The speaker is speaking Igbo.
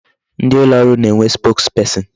Ndị ụlọ ọrụ na-enwe spokesperson.